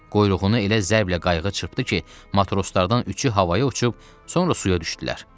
Quyruğunu elə zərblə qayıq çırpdı ki, matroslardan üçü havaya uçub, sonra suya düşdülər.